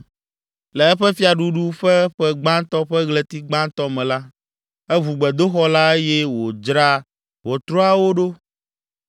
Le eƒe fiaɖuɖu ƒe ƒe gbãtɔ ƒe ɣleti gbãtɔ me la, eʋu gbedoxɔ la eye wòdzra ʋɔtruawo ɖo.